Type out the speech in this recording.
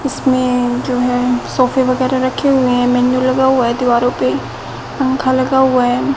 इसमें जो है सोफे वगैरह रखे हुए हैं मेनू लगा हुआ है दीवारों पे पंखा लगा हुआ है।